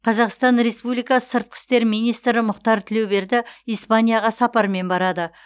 қазақстан республикасы сыртқы істер министрі мұхтар тілеуберді испанияға сапармен барады